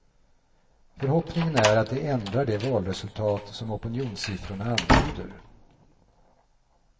Förhoppningen är att det ändrar det valresultat som opinionssiffrorna antyder.